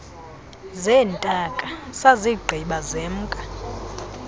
zeentaka sazigqiba semka